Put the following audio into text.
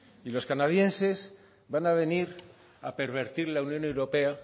y los canadienses van a venir a pervertir la unión europea